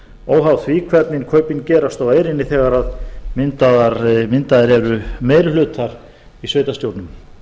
óháð því hvernig kaupin gerast á eyrinni þegar myndaðir eru meiri hlutar í sveitarstjórnum